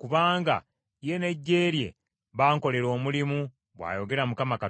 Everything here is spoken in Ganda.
kubanga ye n’eggye lye bankolera omulimu, bw’ayogera Mukama Katonda.